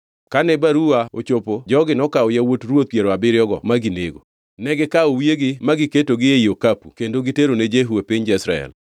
Kane baruwa ochopo jogi nokawo yawuot ruoth piero abiriyogo ma ginego. Negikawo wiyegi ma giketogi ei okapu kendo giterone Jehu e piny Jezreel.